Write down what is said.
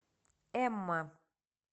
эмма